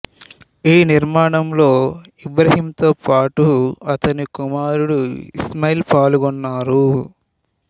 ఈ నిర్మాణంలో ఇబ్రాహీంతో పాటు అతని కుమారుడు ఇస్మాయీల్ పాల్గొన్నారు